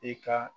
I ka